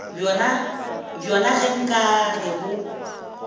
bjona ge nka re bo